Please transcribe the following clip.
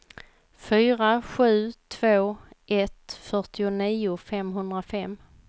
fyra sju två ett fyrtionio femhundrafem